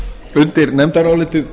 undir nefndarálitið